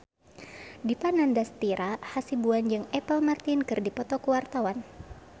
Dipa Nandastyra Hasibuan jeung Apple Martin keur dipoto ku wartawan